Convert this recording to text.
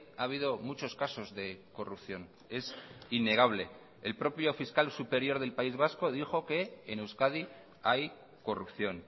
ha habido muchos casos de corrupción es innegable el propio fiscal superior del país vasco dijo que en euskadi hay corrupción